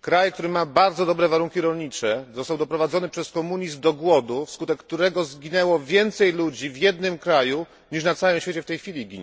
kraj, który ma bardzo dobre warunki rolnicze, został doprowadzony przez komunizm do głodu, wskutek którego zginęło więcej ludzi w jednym kraju, niż na całym świecie ginie w tej chwili.